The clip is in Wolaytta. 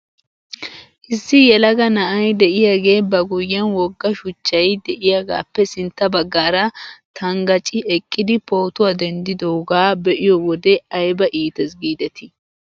Issi yelaga na'ay de'iyaagee ba guyyen wogga shuchchay de'iyaagaappe sintta baggaara tanggacci eqqidi pootuwaa denddidoogaa be'iyoo wode ayba iites giidetii